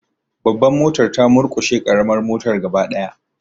Babbar motar ta murkushe karamar motar gaba daya.